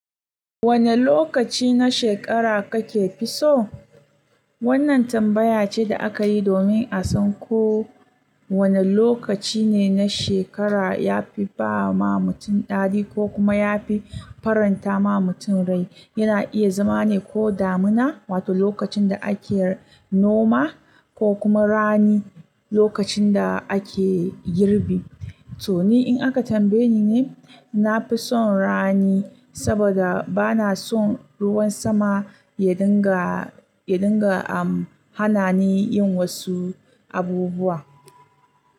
Wane lokaci na shekara kakefi so? Wannan tambaya ce da aka yi domin a san ko wane lokaci ne na shekara ya fi ba ma mutum ɗari ko kuma ya fi faranta ma mutum rai. Yana iya zama ne ko damina, wato lokacin da ake noma, ko kuma rani, lokacin da ake girbi. To ni in aka tambaye ni ne, nafi son rani saboda bana son ruwan sama yadinga, yadinga am hana ni yin wasu abubuwa.